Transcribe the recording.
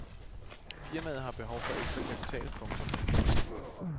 Firmaet har behov for ekstra kapital. punktum